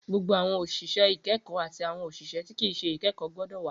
Gbogbo awọn oṣiṣẹ ikẹkọ ati awọn oṣiṣẹ ti kii ṣe ikẹkọ gbọdọ wa!